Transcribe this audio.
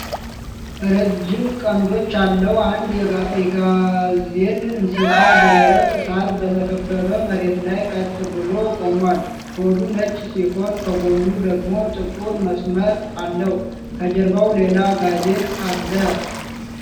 ረዥም ቀንዶች ያለው አንድ የጋዜል እንስሳ በደረቅ ሳር በተከበበ መሬት ላይ ቀጥ ብሎ ቆሟል። ሆዱ ነጭ ሲሆን፣ ከጎኑ ደግሞ ጥቁር መስመር አለው፤ ከጀርባው ሌላ ጋዜል አለ።